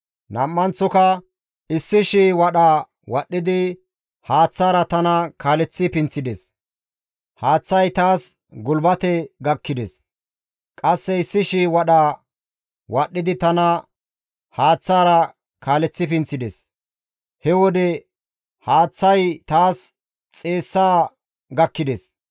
Nam7anththoka 1,000 wadha wadhdhidi haaththaara tana kaaleththi pinththides. Haaththay taas gulbate gakkides. Qasse 1,000 wadha wadhdhidi tana haaththaara kaaleththi pinththides. He wode haaththazi taas xeessa gakkides.